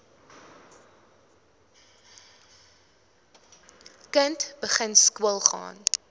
kind begin skoolgaan